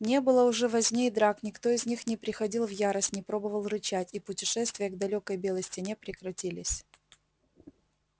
не было уже возни и драк никто из них не приходил в ярость не пробовал рычать и путешествия к далёкой белой стене прекратились